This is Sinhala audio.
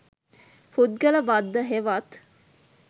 පුද්ගල බද්ධ හෙවත්